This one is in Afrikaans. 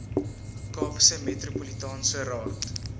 kaapse metropolitaanse raad